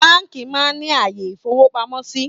Báńkì máa ń ní àyè ìfowópamọ́ síí